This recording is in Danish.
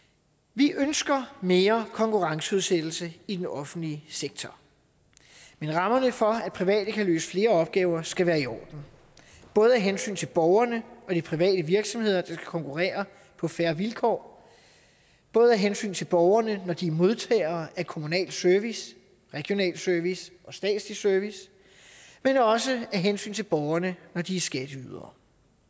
vi ønsker mere konkurrenceudsættelse i den offentlige sektor men rammerne for at private kan løse flere opgaver skal være i orden både af hensyn til borgerne og de private virksomheder der konkurrere på fair vilkår både af hensyn til borgerne når de er modtagere af kommunal service regional service og statslig service men også af hensyn til borgerne når de er skatteydere